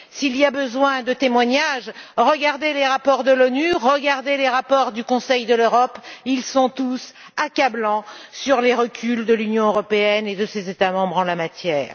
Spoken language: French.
S'il faut des témoignages, regardez les rapports de l'ONU, regardez les rapports du Conseil de l'Europe ils sont tous accablants sur les reculs de l'Union européenne et de ses États membres en la matière.